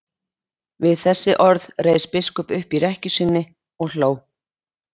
Við þessi orð reis biskup upp í rekkju sinni og hló.